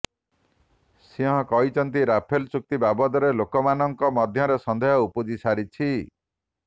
ସିଂହ କହିଛନ୍ତି ରାଫେଲ୍ ଚୁକ୍ତି ବାବଦରେ ଲୋକମାନଙ୍କ ମଧ୍ୟରେ ସନ୍ଦେହ ଉପୁଜିସାରିଛି